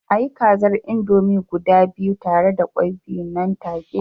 A yi kaza indomie guda biyu tare da kwai biyu nan take